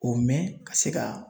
O mɛn ka se ka